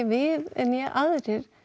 við né aðrir